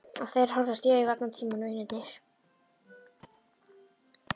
Og þeir horfast í augu allan tímann vinirnir.